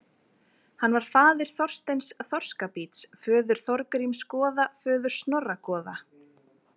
Hann var faðir Þorsteins þorskabíts föður Þorgríms goða föður Snorra goða.